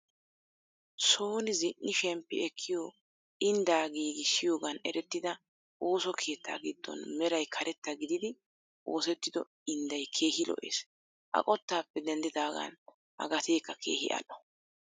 Soni zini"i shemppi ekkiyoo inddaa giigisiyoogan erettida ooso keettaa giddon meray karetta gidiidi oosettido indday keehi lo"ees. A qottaappe denddidaagan a gateekka keehi adh'o.